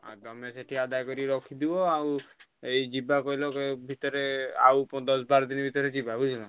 ହଁ ତମେ ସେଠି ଆଦାୟ କରି ରଖିଥିବ ଆଉ ଏଇ ଯିବା କହିଲ ଭିତରେ ଆଉ ପ ଦଶ ବାର ଦିନି ଭିତରେ ଯିବା ବୁଝିଲନା।